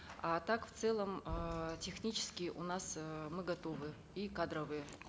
а так в целом эээ технически у нас э мы готовы и кадровые